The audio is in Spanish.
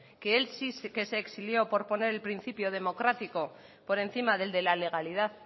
que él sí que se exilió por poner el principio democrático por encima del de la legalidad